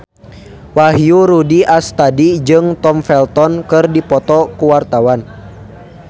Wahyu Rudi Astadi jeung Tom Felton keur dipoto ku wartawan